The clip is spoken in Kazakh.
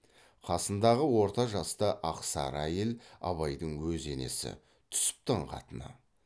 қасындағы орта жаста ақ сары әйел абайдың өз енесі түсіптің қатыны